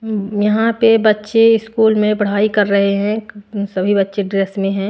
यहां पे बच्चे स्कूल में पढ़ाई कर रहे हैं सभी बच्चे ड्रेस में है।